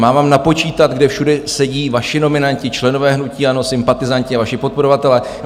Mám vám napočítat, kde všude sedí vaši nominanti, členové hnutí ANO, sympatizanti a vaši podporovatelé?